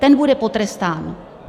Ten bude potrestán!